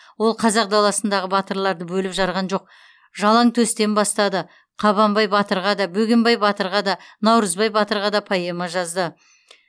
ол қазақ даласындағы батырларды бөліп жарған жоқ жалаңтөстен бастады қабанбай батырға да бөгенбай батырға да наурызбай батырға да поэма жазды